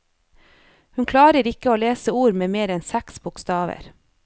Hun klarer ikke å lese ord med mer enn seks bokstaver.